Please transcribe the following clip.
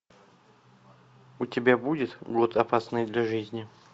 у тебя будет год опасный для жизни